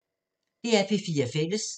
DR P4 Fælles